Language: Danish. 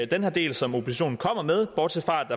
den her del som oppositionen kommer med bortset fra at